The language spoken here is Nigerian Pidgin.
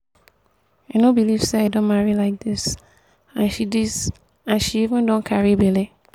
i no believe say i don marry like dis and she dis and she even don carry bele